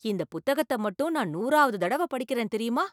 இந்த புத்தகத்தை மட்டும் நான் நூறாவது தடவை படிக்கிறேன் தெரியுமா!